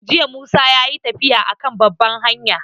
Jiya Musa yayi tafiya a kan babban hanya